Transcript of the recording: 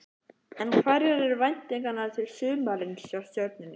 En hverjar eru væntingarnar til sumarsins hjá Stjörnunni?